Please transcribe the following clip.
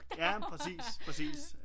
Ja men præcis præcis